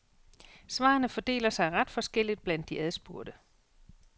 Svarene fordeler sig ret forskelligt blandt de adspurgte.